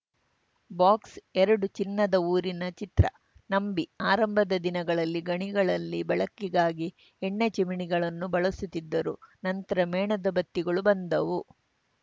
box ಎರಡು ಚಿನ್ನದ ಊರಿನ ಚಿತ್ರ ನಂಬಿ ಆರಂಭದ ದಿನಗಳಲ್ಲಿ ಗಣಿಗಳಲ್ಲಿ ಬಳಕೆಗಾಗಿ ಎಣ್ಣೆ ಚಿಮಣಿಗಳನ್ನು ಬಳಸುತ್ತಿದ್ದರು ನಂತರ ಮೇಣದ ಬತ್ತಿಗಳು ಬಂದವು